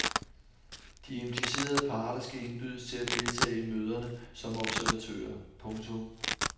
De implicerede parter skal indbydes til at deltage i møderne som observatører. punktum